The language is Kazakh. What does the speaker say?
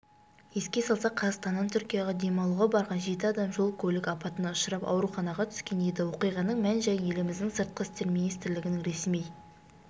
еске салсақ қазақстаннан түркияға демалуға барған жеті адам жол-көлік апатына ұшырап ауруханаға түскен еді оқиғаның мән-жайын еліміздің сыртқы істер министрлігінің ресми